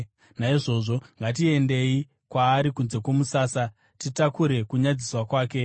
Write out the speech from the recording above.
Naizvozvo, ngatiendei kwaari kunze kwomusasa, titakure kunyadziswa kwake.